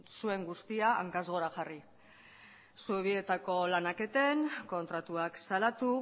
zuen guztia hankaz gora jarri zubietako lanak eten kontratuak salatu